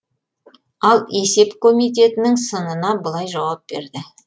ал есеп комитетінің сынына былай жауап берді